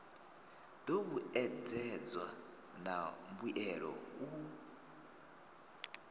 do vhuedzedzwa na mbuelo u